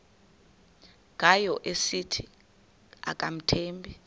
ngayo esithi akamthembi